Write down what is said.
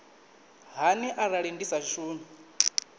hani arali ndi sa shumi